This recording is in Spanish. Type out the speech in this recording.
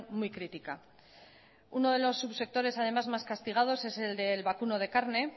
muy crítica uno de los subsectores además más castigados es el del vacuno de carne